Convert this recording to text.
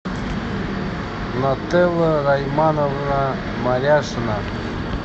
нателла раймановна маляшина